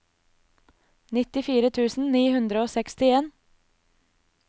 nittifire tusen ni hundre og sekstien